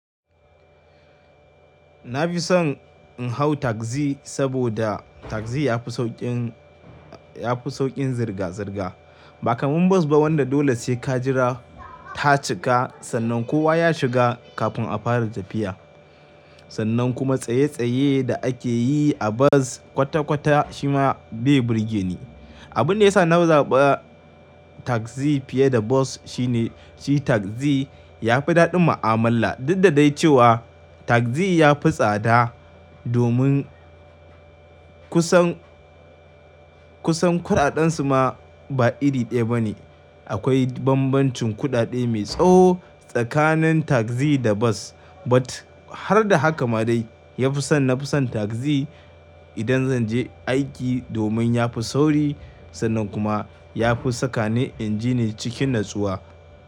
Na fi son in hau tagzi saboda tagzi ya fi sauƙin, ya fi sauƙin zirga-zirga. Ba kamar bus ba wanda dole sai ka jira ta cika sannan kowa ya shiga kafin a fara tafiya. Sannan kuma tsaye-tsaye da ake yi a bus kwata-kwata shi ma bai burge ni. Abun da ya sa na zaɓi tagzi fiye da bas shine shi tagzi ya fi daɗin mu'amala. Dun da dai cewa tagzi ya fi tsada domin kusan, kusan kuɗaɗen su ma ba iri ɗaya ba ne. Akwai bambancin kuɗaɗe mai tsawo tsakanin tagzi da bus. But har da haka ma dai ya fi son, na fi son tagzi idan zan je aiki domin ya fi sauri sannan kuma ya fi sakani inji ne cikin natsuwa.